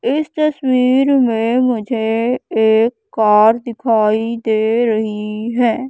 इस तस्वीर मे मुझे एक कार दिखाई दे रही है।